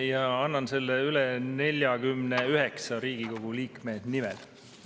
Ja annan selle üle 49 Riigikogu liikme nimel.